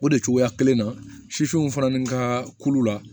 O de cogoya kelen na sisiw fana ni ka kulu la